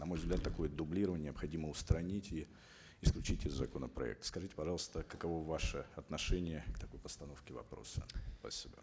на мой взгляд такое дублирование необходимо устранить и исключить из законопроекта скажите пожалуйста каково ваше отношение к такой постановке вопроса спасибо